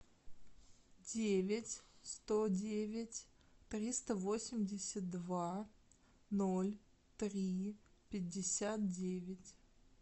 девять сто девять триста восемьдесят два ноль три пятьдесят девять